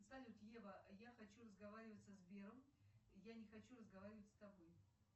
салют ева я хочу разговаривать со сбером я не хочу разговаривать с тобой